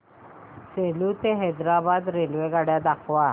सेलू ते हैदराबाद रेल्वेगाडी दाखवा